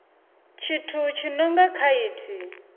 tshithu tshi no nga khaithi